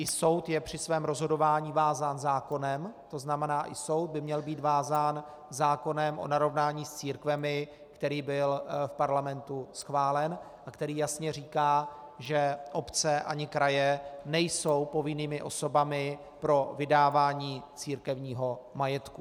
I soud je při svém rozhodování vázán zákonem, to znamená, i soud by měl být vázán zákonem o narovnání s církvemi, který byl v parlamentu schválen a který jasně říká, že obce ani kraje nejsou povinnými osobami pro vydávání církevního majetku.